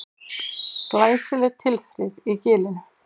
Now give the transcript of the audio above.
Glæsileg tilþrif í Gilinu